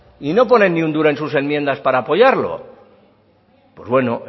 y no ponen ni un duro en sus enmiendas para apoyarlo pues bueno